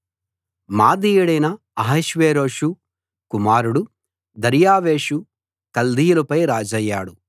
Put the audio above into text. మాదీయుడైన అహష్వేరోషు కుమారుడు దర్యావేషు కల్దీయులపై రాజయ్యాడు